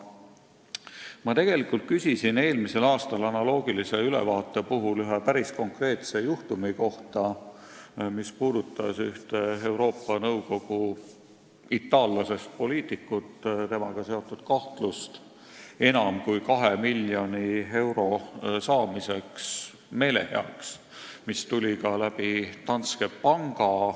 Ma tegelikult küsisin eelmisel aastal analoogilise ülevaate puhul ühe päris konkreetse juhtumi kohta, mis puudutas ühte Euroopa Nõukogu itaallasest poliitikut, keda kahtlustati enam kui kahe miljoni euro suuruse meelehea saamises, mis tuli ka läbi Danske Banki.